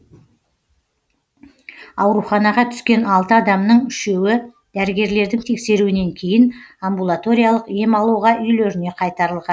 ауруханаға түскен алты адамның үшеуі дәрігерлердің тексеруінен кейін амбулаториялық ем алуға үйлеріне қайтарылған